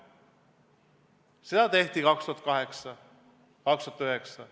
Seda tehti 2008 ja 2009.